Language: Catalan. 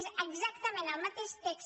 és exactament el mateix text